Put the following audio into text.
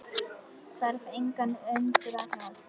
Þarf engan að undra það.